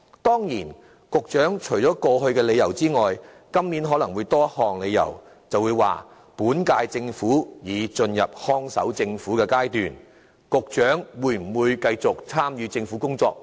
當然，除過往提出的理由外，今年局長可能會有多一項理由，說本屆政府已進入看守政府階段，沒有人知道局長會否繼續參與政府的工作。